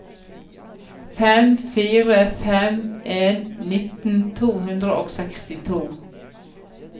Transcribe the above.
fem fire fem en nitten to hundre og sekstito